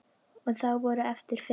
Og þá voru eftir fimm.